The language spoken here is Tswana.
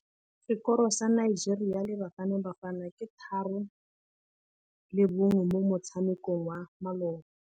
Sekôrô sa Nigeria le Bafanabafana ke 3-1 mo motshamekong wa malôba.